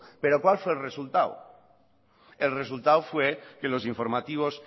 pero cuál fue el resultado el resultado fue que los informativos